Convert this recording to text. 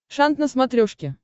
шант на смотрешке